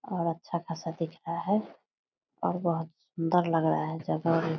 और अच्छा खासा दिख रहा है और बहोत सुन्दर लग रहा है जगह भी --